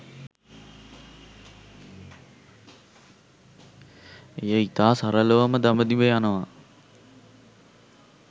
එය ඉතා සරලවම දඹදිව යනවා